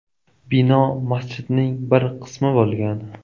Bino masjidning bir qismi bo‘lgan.